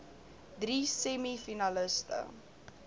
drie semi finaliste